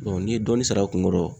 n'i ye dɔɔni sara a kun kɔrɔ